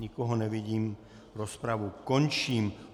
Nikoho nevidím, rozpravu končím.